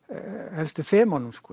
helstu þemunum